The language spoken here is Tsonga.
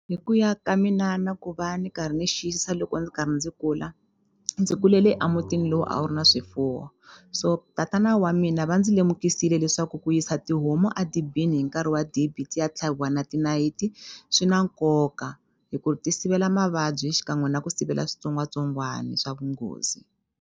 Hi ku ya ka mina na ku va ni karhi ni xiyisisa loko ni karhi ndzi kula ndzi kulele a mutini lowu a wu ri na swifuwo so tatana wa mina va ndzi lemukisile leswaku ku yisa tihomu a dibini hi nkarhi wa dibi ti ya tlhaviwa na tinayiti swi na nkoka hi ku ti sivela mavabyi xikan'we na ku sivela switsongwatsongwani swa vunghozi.